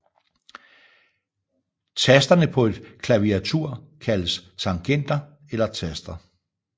Tasterne på et klaviatur kaldes tangenter eller taster